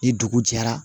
Ni dugu jɛra